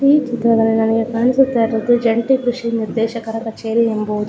ಈ ಚಿತ್ರದಲ್ಲಿ ನಮಗೆ ಕಾಣಿಸುತ್ತ ಇರುವುದು ಜಂಟಿ ಕೃಷಿ ನಿರ್ದೇಶಕರ ಕಚೇರಿ ಎಂಬುವುದು .